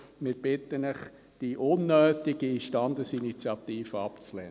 Ich bitte Sie, die unnötige Standesinitiative abzulehnen.